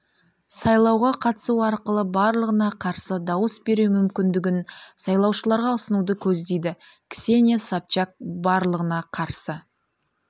сайлауға қатысу арқылы барлығына қарсы дауыс беру мүмкіндігін сайлаушыларға ұсынуды көздейді ксения собчак барлығына қарсы